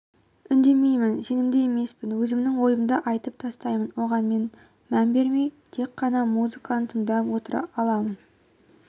үндемеймін сенімді емеспін өзімнің ойымды айтып тастаймын оған мән бермей тек қана музыканы тыңдап отыра аламын